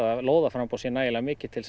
lóðarframboð sé nægilega mikið til